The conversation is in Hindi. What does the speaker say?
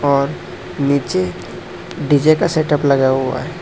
और नीचे डी_जे का सेटअप लगा हुआ है।